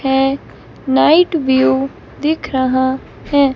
ऐ night view दिख रहा है।